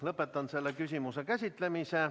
Lõpetan selle küsimuse käsitlemise.